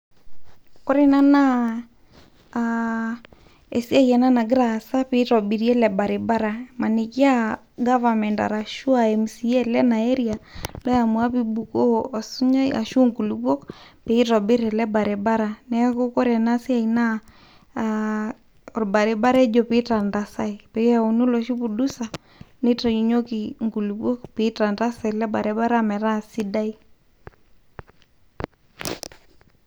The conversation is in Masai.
koree enaa naa aa esiai ena nagira aasa pitobiri ele baribara maniki aa government arashu aa mca lena area neyamua pibuku osunyai arashu nkulukuok pitobirr ele baribara neaku wore ena siai naa aa olbaribara ejii pitalalai peyauni oloshi pudusa oitayunyeki nkulukuo pitantasa ele baribara metaa sidai.